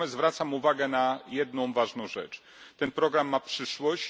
Natomiast zwracam uwagę na jedną ważną rzecz ten program ma przyszłość.